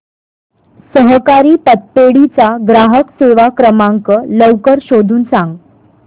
सहकारी पतपेढी चा ग्राहक सेवा क्रमांक लवकर शोधून सांग